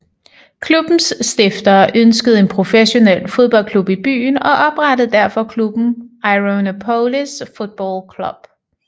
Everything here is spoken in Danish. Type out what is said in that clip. Klubbens stiftere ønskede en professionel fodboldklub i byen og oprettede derfor klubben Ironopolis Football Club